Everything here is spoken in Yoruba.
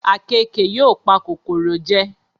Àkekèé yóò pa kòkòrò jẹ